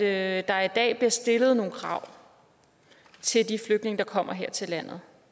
at der i dag bliver stillet nogle krav til de flygtninge der kommer her til landet